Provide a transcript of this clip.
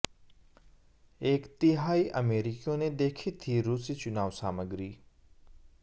एक तिहाई अमेरिकियों ने देखी थी रूसी चुनाव सामग्री